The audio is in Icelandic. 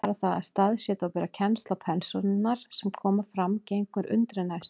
Bara það að staðsetja og bera kennsl á persónurnar sem fram koma gengur undri næst.